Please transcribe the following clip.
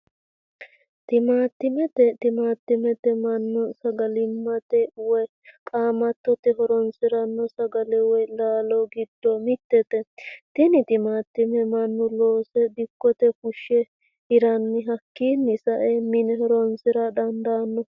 Timaatimete, timaatime manu sagalimate woyi qaamatote horonsirano sagale woyi laalo gido mitete tene timaatime manu loose dikkote fushe hiranni hakinni sae mine horonsira dandano